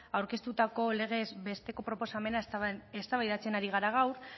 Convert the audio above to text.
aurkeztutako legez besteko proposamena eztabaidatzen ari gara gaur